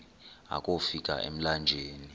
akofi ka emlanjeni